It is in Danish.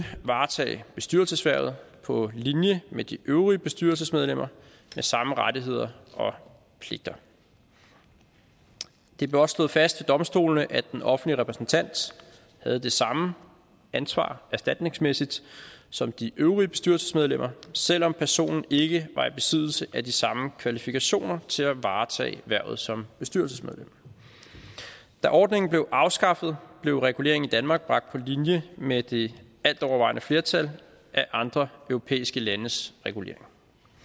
varetage bestyrelseshvervet på linje med de øvrige bestyrelsesmedlemmer med samme rettigheder og pligter det blev også slået fast ved domstolene at den offentlige repræsentant havde det samme ansvar erstatningsmæssigt som de øvrige bestyrelsesmedlemmer selv om personen ikke var i besiddelse af de samme kvalifikationer til at varetage hvervet som bestyrelsesmedlem da ordningen blev afskaffet blev regulering i danmark bragt på linje med det altovervejende flertal af andre europæiske landes reguleringer